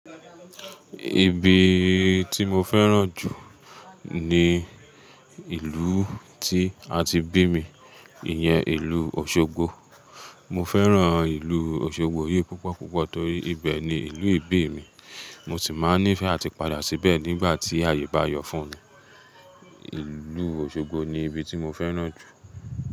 Ibi tí mo fẹ́ràn jù ni ìlú tí a ti bí mi, ìyẹn ìlú Òṣogbo. Mo fẹ́ràn ìlú Òṣogbo yìí púpọ̀púpọ̀ torí ibẹ̀ ni ìlú ìbí mi. Mo sì máa nífẹ̀ẹ́ àti padà síbẹ̀ nígbà tí ayé bá yọ̀ fún mi. Ìlú Òṣogbo ni ibi tí mo fẹ́ràn jù.